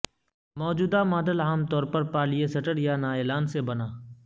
موجودہ ماڈل عام طور پر پالئیےسٹر یا نایلان سے بنا